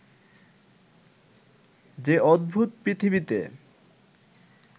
যে অদ্ভুত পৃথিবীতে